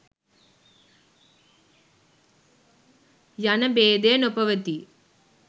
යන භේදය නොපවතී.